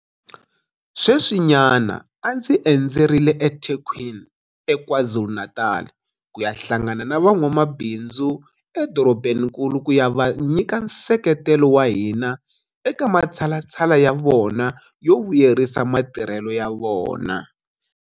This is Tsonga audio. Sweswinyana a ndzi endzerile eThekwini eKwaZulu-Natal ku ya hlangana na van'wamabindzu edorobankulu ku ya va nyika nseketelo wa hina eka matshalatshala ya vona yo vuyelerisa matirhelo ya vona.